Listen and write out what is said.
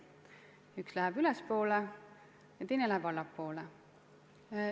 Üks joon läheb ülespoole, teine läheb allapoole.